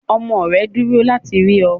Ọmọ rẹ̀ nduro láti rí ọ